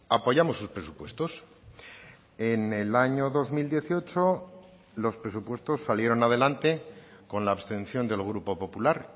apoyamos sus presupuestos en el año dos mil dieciocho los presupuestos salieron adelante con la abstención del grupo popular